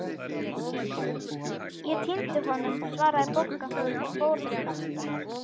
Ég týndi honum svaraði Bogga og fór að snökta.